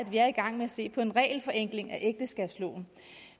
er i gang med at se på en regelforenkling af ægteskabsloven